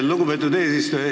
Lugupeetud eesistuja!